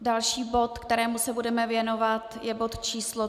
Další bod, kterému se budeme věnovat, je bod číslo